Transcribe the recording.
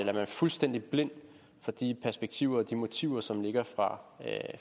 er man fuldstændig blind for de perspektiver og de motiver som ligger fra